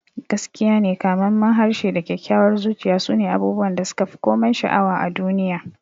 Gaskiyane, kamammen harshe da kyakkyawar zuciya sune abubuwan da suka fi komai sha'awa a duniya.